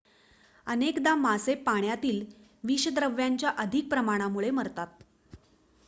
अनेकदा मासे पाण्यातील विषद्रव्यांच्या अधिक प्रमाणामुळे मरतात